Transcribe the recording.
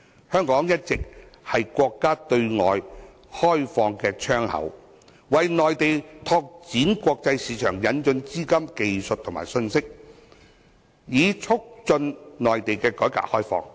香港一直是國家對外開放的窗口，為內地拓展國際市場，引進資金、技術和信息，以促進內地的改革開放。